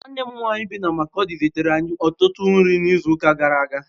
Nwanne m nwanyị bi na Makurdi zitere anyị ọtụtụ nri n'izuụka gara aga